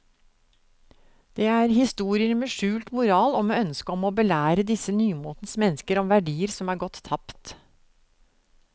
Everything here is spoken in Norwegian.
Det er historier med skjult moral og med ønske om å belære disse nymotens mennesker om verdier som er gått tapt.